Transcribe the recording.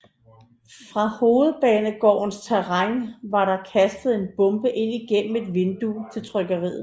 Fra Hovedbanegårdens terræn var der kastet en bombe ind gennem et vindue til trykkeriet